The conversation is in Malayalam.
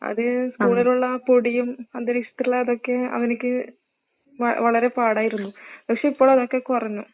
അത് സ്കൂളിലുള്ള ആ പൊടിയും അന്തരീക്ഷത്തിലുള്ള ഇതൊക്കെ അവന്ക്ക് വ വളരെ പാടായിരിന്നു. പക്ഷെ ഇപ്പോൾ അതൊക്കെ കുറഞ്ഞു.